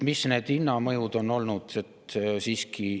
Mis need hinnamõjud on olnud?